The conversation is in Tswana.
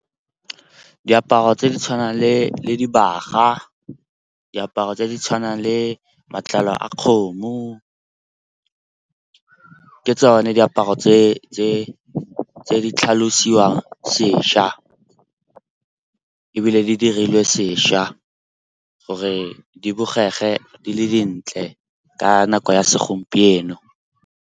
Diaparo tse di tshwanang le dibaga, diaparo tse di tshwanang le matlalo a kgomo, ke tsone diaparo tse di tlhalosiwang sešwa. Ebile di dirilwe sešwa gore di bogege di le dintle ka nako ya segompieno.